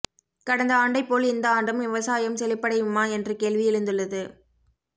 கடந்த ஆண்டைப் போல் இந்த ஆண்டும் விவசாயம் செழிப்படையுமா என்ற கேள்வி எழுந்துள்ளது